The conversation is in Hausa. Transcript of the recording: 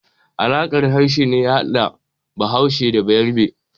Alaƙar harshe ne ya hada Bahaushe da Balarabe.